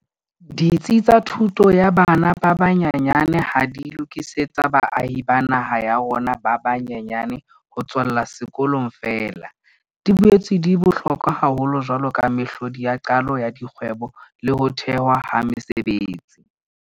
Ditsi tsa thuto ya bana ba banyenyane ha di lokisetse baahi ba naha ya rona ba ba nyenyane ho tswella sekolong feela, di boetse di bohlokwa haholo jwaloka mehlodi ya qalo ya dikgwebo le ho thehwa ha mesebetsi.